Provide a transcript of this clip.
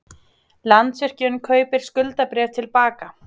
Landsvirkjun kaupir skuldabréf til baka